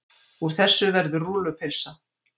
Úr þessu verður rúllupylsa.